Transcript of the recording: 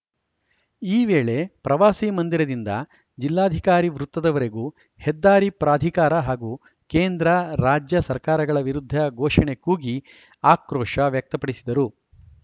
ಈ ವೇಳೆ ಪ್ರವಾಸಿ ಮಂದಿರದಿಂದ ಜಿಲ್ಲಾಧಿಕಾರಿ ವೃತ್ತದವರೆಗೂ ಹೆದ್ದಾರಿ ಪ್ರಾಧಿಕಾರ ಹಾಗೂ ಕೇಂದ್ರ ರಾಜ್ಯ ಸರ್ಕಾರಗಳ ವಿರುದ್ಧ ಘೋಷಣೆ ಕೂಗಿ ಆಕ್ರೋಶ ವ್ಯಕ್ತಪಡಿಸಿದರು